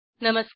नमस्कार